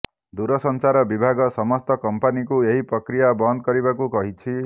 ଦୂରସଂଚାର ବିଭାଗ ସମସ୍ତ କମ୍ପାନୀଙ୍କୁ ଏହି ପ୍ରକ୍ରିୟା ବନ୍ଦ କରିବାକୁ କହିଛି